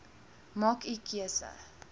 maak u keuse